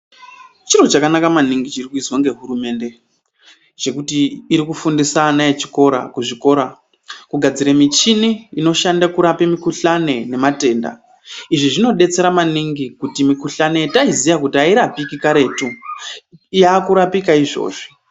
Chiro chakanaka maningi chiri kuizwa ngehurumende chekuti iri kufundisa ana echikora kuzvikora kugadzira michini inoshande kurapa mikhuhlani nematenda. Izvi zvinodetsera maningi kuti mikhuhlani yataiziya kuti airapiki karetu yakurapika izvozvi.